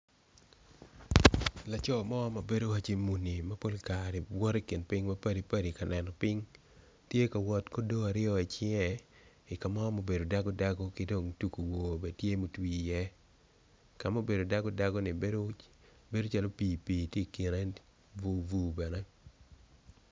Laco mo mabedo waco muni mapol kare woto i kin ping mapadipadi kaneno ping tye ka wot ki odo i cinge i kamo ma obedo dago dago ki dong tugu wor bene tye ma otwir i ye kama obedo dago dagoni bedo calo pi pi tye i kine bur bur bene.